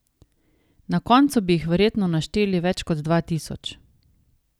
Na koncu bi jih verjetno našteli več kot dva tisoč.